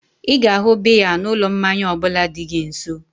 Ịga ahu biya na ụlọ mmanya ọbụla dị gị nso